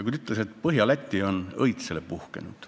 Tema ütles, et Põhja-Läti on õitsele puhkenud.